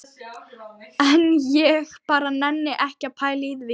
En ég bara nenni ekki að pæla í því.